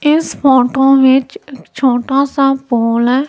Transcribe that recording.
इस फोटो में एक छोटा सा पूल है।